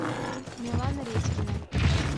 милана редькина